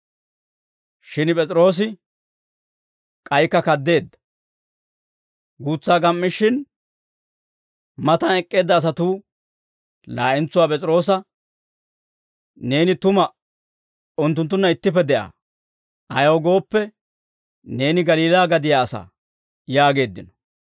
Shin P'es'iroosi k'aykka kaddeedda. Guutsaa gam"ishin, matan ek'k'eedda asatuu laa'entsuwaa P'es'iroosa, «Neeni tuma unttunttunna ittippe de'aa; ayaw gooppe, neeni Galiilaa gadiyaa asaa» yaageeddino.